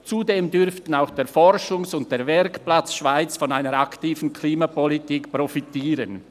Zudem dürften auch der Forschungs- und der Werkplatz Schweiz von einer aktiven Klimapolitik profitieren.